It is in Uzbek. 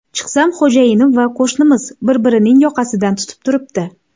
Chiqsam, xo‘jayinim va qo‘shnimiz bir-birining yoqasidan tutib turibdi”.